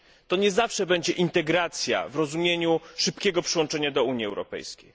To nie zawsze będzie integracja w rozumieniu szybkiego przyłączenia do Unii Europejskiej.